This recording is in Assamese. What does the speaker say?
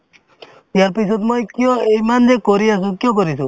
ইয়াৰ পিছত মই কিয় এইমান যে কৰি আছো কিয় কৰিছো